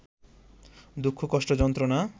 দুঃখ-কষ্ট-যন্ত্রণা